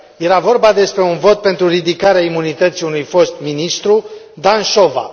Era vorba despre un vot pentru ridicarea imunității unui fost ministru, Dan Șova.